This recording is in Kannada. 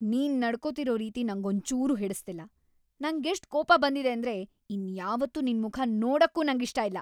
ನೀನ್‌ ನಡ್ಕೋತಿರೋ ರೀತಿ ನಂಗೊಂಚೂರೂ ಹಿಡಿಸ್ತಿಲ್ಲ, ನಂಗೆಷ್ಟ್‌ ಕೋಪ ಬಂದಿದೆ ಅಂದ್ರೆ ಇನ್ಯಾವತ್ತೂ ನಿನ್ಮುಖ ನೋಡಕ್ಕೂ ನಂಗಿಷ್ಟ ಇಲ್ಲ!